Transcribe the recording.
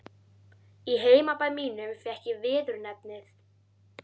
Í heimabæ mínum fékk ég viðurnefnið